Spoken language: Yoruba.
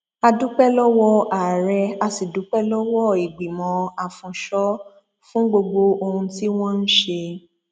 a dúpẹ lọwọ ààrẹ a sì dúpẹ lọwọ ìgbìmọ afúnńsọ fún gbogbo ohun tí wọn ń ṣe